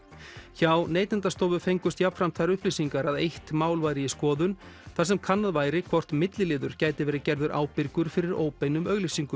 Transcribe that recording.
hjá Neytendastofu fengust jafnframt þær upplýsingar að eitt mál væri í skoðun þar sem kannað væri hvort milliliður gæti verið gerður ábyrgur fyrir óbeinum auglýsingum